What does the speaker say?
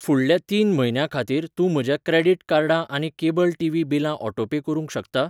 फुडल्या तीन म्हयन्यां खातीर तूं म्हज्या क्रेडिट कार्डां आनी केबल टीव्ही बिलां ऑटोपे करूंक शकता?